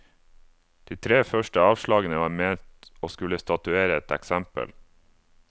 De tre første avslagene var ment å skulle statuere et eksempel.